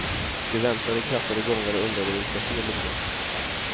De väntade, krattade gångar och undrade vilka fel de begått.